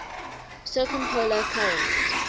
circumpolar current